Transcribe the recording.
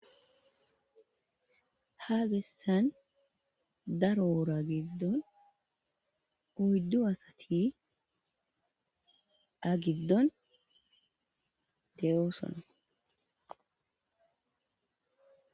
Ha besan daro wora gidon oydu asat a gidon de'osona.